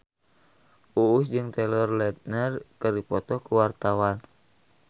Uus jeung Taylor Lautner keur dipoto ku wartawan